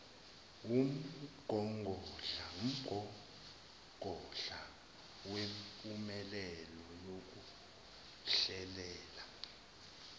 wumgogodla wempumelelo yokuhlelela